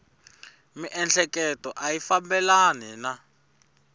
miehleketo a yi fambelani na